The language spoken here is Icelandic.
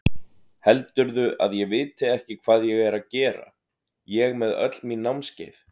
Heldurðu að ég viti ekki hvað ég er að gera, ég með öll mín námskeið.